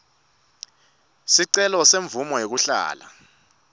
sicelo semvumo yekuhlala